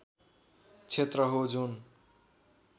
क्षेत्र हो जुन